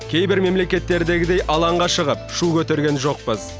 кейбір мемлекеттердегідей алаңға шығып шу көтерген жоқпыз